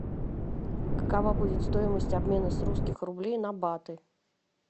какова будет стоимость обмена с русских рублей на баты